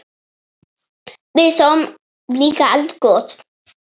Við sáum líka eldgos!